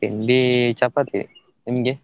ತಿಂಡಿ chapathi ನಿಮ್ಗೆ?